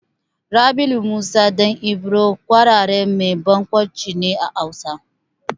Rabilu Musa ɗan Ibro ƙwararren mai barkwanci ne a Hausa.